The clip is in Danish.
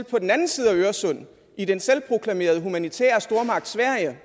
på den anden side af øresund i den selvproklamerede humanitære stormagt sverige